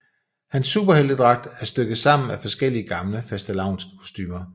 Hans superheltedragt er stykket sammen af forskellige gamle fastelavnskostumer